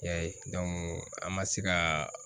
Y'a ye an ma se ka